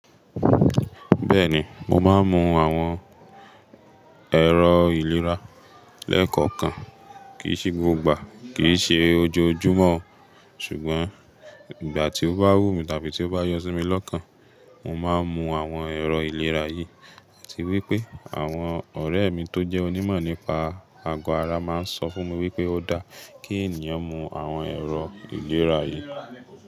Bẹ́ẹ̀ni, mo máa ń mu àwọn ẹ̀rọ ìlera lẹ́ẹ̀kọ̀kan. Kì í ṣe gbogbo ìgbà, kì í ṣe ojoojúmọ́ o, ṣùgbọ́n ìgbà tí ó bá wú mi tàbí tí ó bá yọ́ sí mi lọ́kàn, mo máa ń mu àwọn ẹ̀rọ ìlera yìí. Láti wípé àwọn ọ̀rẹ́ mi tó jẹ́ onímọ̀ nípa ago ara máa ń sọ fún mi wípé ó da kí ènìyàn mu àwọn ẹ̀rọ ìlera yìí.